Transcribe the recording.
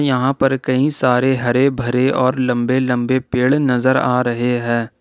यहां पर कई सारे हरे भरे और लंबे लंबे पेड़ नजर आ रहे हैं।